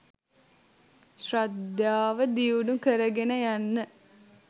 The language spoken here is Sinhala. ශ්‍රද්ධාව දියුණු කරගෙන යන්න.